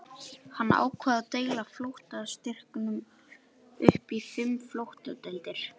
Hann ákvað að deila flotastyrknum upp í fimm flotadeildir.